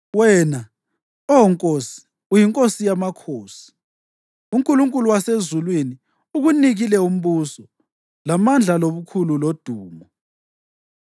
Wena, Oh nkosi uyinkosi yamakhosi. UNkulunkulu wasezulwini ukunikile umbuso, lamandla lobukhulu lodumo;